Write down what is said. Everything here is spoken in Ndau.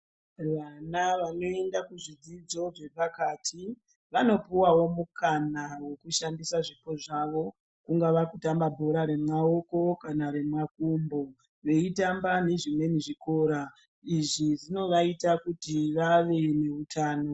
Vana vanoenda ku zvidzidzo zve pakati vanopuwawo mukana weku shandisa zvipo zvavo kungava kutamba bhora re maoko kana re makumbo veitamba ne zvimweni zvikora izvi zvinovaita kuti vave ne utano.